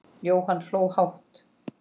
Jóhann hló hátt.